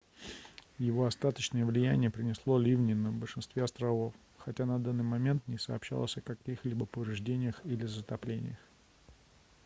его остаточное влияние принесло ливни на большинстве островов хотя на данный момент не сообщалось о каких-либо повреждениях или затоплениях